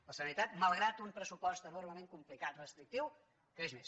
la sanitat malgrat un pressupost enormement complicat restrictiu creix més